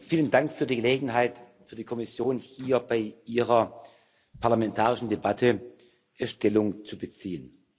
Vielen Dank für die Gelegenheit für die Kommission, hier bei Ihrer parlamentarischen Debatte Stellung zu beziehen.